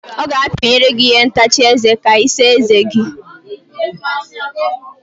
Ọ ga-apinyere gị ihe ntacha eze ka Ị saa eze gi.